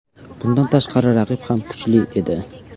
Bundan tashqari raqib ham kuchli edi.